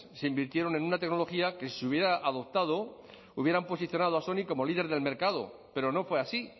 se invirtieron en una tecnología que si se hubiera adoptado hubieran posicionado a sony como líder del mercado pero no fue así